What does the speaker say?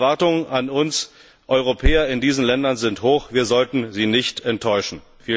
Die Erwartungen an uns Europäer in diesen Ländern sind hoch wir sollten sie nicht enttäuschen.